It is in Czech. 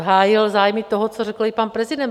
Hájil zájmy toho, co řekl i pan prezident.